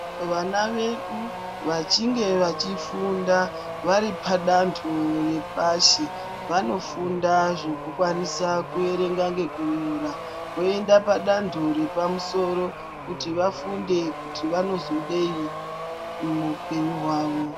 Vana vedu vachinge vachi funda vari pa dando repashi vano funda zveku kwanisa ku erenga neku nyora voenda la dando repa musoro kuti vafunde kuti vanozodei mu hwupenyu hwavo.